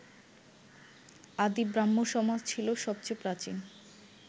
আদি ব্রাহ্মসমাজ ছিল সবচেয়ে প্রাচীন